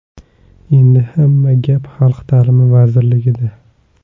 Endi hamma gap Xalq ta’limi vazirligida.